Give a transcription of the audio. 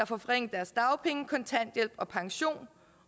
får forringet deres dagpenge kontanthjælp og pension